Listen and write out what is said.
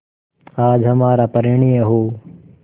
आज हमारा परिणय हो